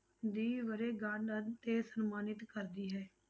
ਦੀ ਵਰੇਗੰਢ ਉੱਤੇ ਸਨਮਾਨਿਤ ਕਰਦੀ ਹੈ।